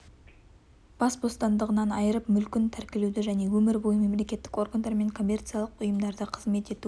бас бостандығынан айырып мүлкін тәркілеуді және өмір бойы мемлекеттік органдар мен коммерциялық ұйымдарда қызмет ету